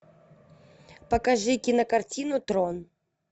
покажи кинокартину трон